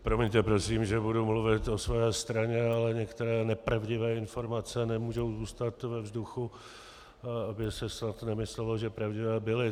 Promiňte prosím, že budu mluvit o své straně, ale některé nepravdivé informace nemůžou zůstat ve vzduchu, aby se snad nemyslelo, že pravdivé byly.